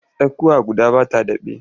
Tsakuwa guda ba ta daɓe.